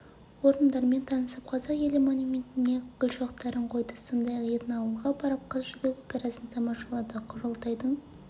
орындармен танысып қазақ елі монументіне гүлшоқтарын қойды сондай-ақ этноауылға барып қыз жібек операсын тамашалады құрылтайдың